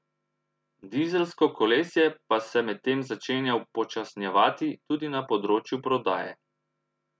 Dizelsko kolesje pa se medtem začenja upočasnjevati tudi na področju prodaje.